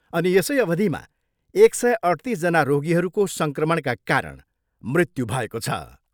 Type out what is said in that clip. अनि यसै अवधिमा एक सय अठ्तिसजना रोगीहरूको सङ्क्रमणका कारण मृत्यु भएको छ।